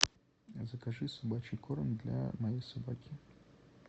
закажи собачий корм для моей собаки